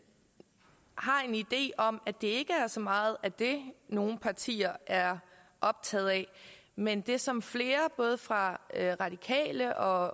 har en idé om at det så meget er det nogle partier er optaget af men det som flere både fra radikale og